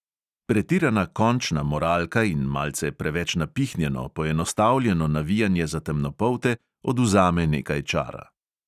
Pretirana končna moralka in malce preveč napihnjeno, poenostavljeno navijanje za temnopolte odvzame nekaj čara …